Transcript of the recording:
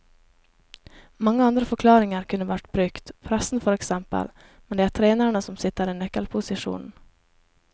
Mange andre forklaringer kunne vært brukt, pressen for eksempel, men det er trenerne som sitter i nøkkelposisjonen.